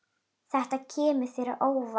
Þetta kemur þér á óvart.